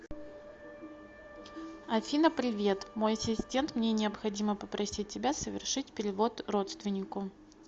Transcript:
афина привет мой ассистент мне необходимо попросить тебя совершить перевод родственнику